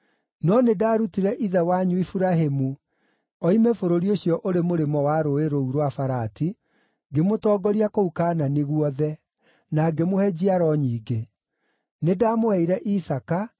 No nĩndarutire ithe wanyu Iburahĩmu, oime bũrũri ũcio ũrĩ mũrĩmo wa rũũĩ rũu rwa Farati, ngĩmũtongoria kũu Kaanani guothe, na ngĩmũhe njiaro nyingĩ. Nĩndamũheire Isaaka,